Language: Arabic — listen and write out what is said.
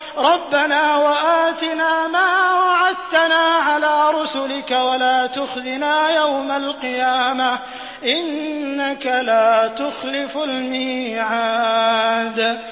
رَبَّنَا وَآتِنَا مَا وَعَدتَّنَا عَلَىٰ رُسُلِكَ وَلَا تُخْزِنَا يَوْمَ الْقِيَامَةِ ۗ إِنَّكَ لَا تُخْلِفُ الْمِيعَادَ